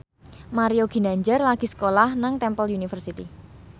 Mario Ginanjar lagi sekolah nang Temple University